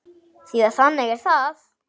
Því að þannig er það!